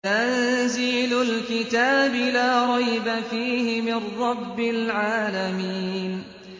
تَنزِيلُ الْكِتَابِ لَا رَيْبَ فِيهِ مِن رَّبِّ الْعَالَمِينَ